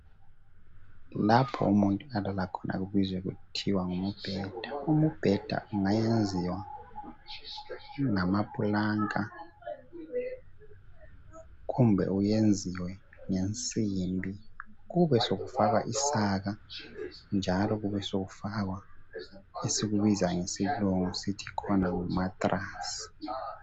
Lapho umuntu alala khona kubizwa kuthiwe ngumbheda umbheda ungayenziwa ngama planka kumbe uyenziwe ngensimbi kube sokufakwa isaka njalo kube sokufakwa esikubiza ngesilungu ngu mattress